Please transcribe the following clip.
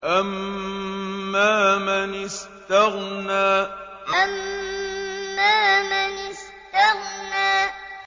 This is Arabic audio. أَمَّا مَنِ اسْتَغْنَىٰ أَمَّا مَنِ اسْتَغْنَىٰ